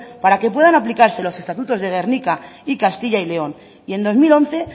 para que puedan aplicarse los estatutos de gernika y castilla y león y en dos mil once